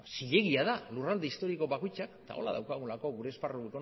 zilegia da lurralde historiko bakoitzak eta hola daukagulako gure esparru